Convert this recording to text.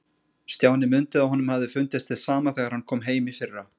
Stjáni mundi að honum hafði fundist hið sama þegar hann kom heim í fyrra.